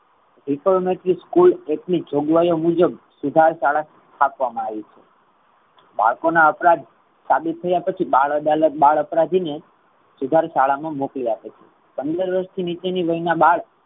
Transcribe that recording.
Recoverment school ની જોગવાઈઓ મુજબ સુધાર શાળા સ્થાપવામા આવી છે. બાળકો ના અપરાધ સાબિત થયા પછી બાળ અદાલત બાળ અપરાધી ને સુધાર શાળા મા મોકલી આપે છે. પંદર વર્ષર્થી નીચે ની વયના બાળ